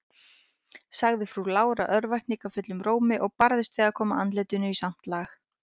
sagði frú Lára örvæntingarfullum rómi, og barðist við að koma andlitinu í samt lag.